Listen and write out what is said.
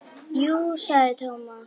Jú sagði Thomas.